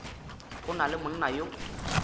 go na le monna yo